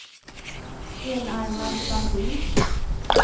enarmad bandit